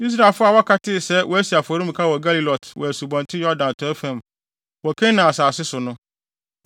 Israelfo a wɔaka no tee sɛ wɔasi afɔremuka wɔ Gelilot wɔ Asubɔnten Yordan atɔe fam, wɔ Kanaan asase so no,